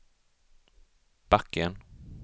backen